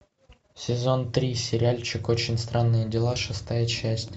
сезон три сериальчик очень странные дела шестая часть